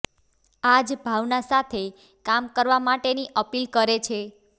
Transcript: આ જ ભાવના સાથે કામ કરવા માટેની અપીલ કરે છે